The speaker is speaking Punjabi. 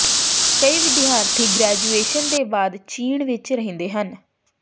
ਕਈ ਵਿਦਿਆਰਥੀ ਗ੍ਰੈਜੂਏਸ਼ਨ ਦੇ ਬਾਅਦ ਚੀਨ ਵਿਚ ਰਹਿੰਦੇ ਹਨ